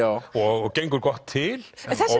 og gengur gott til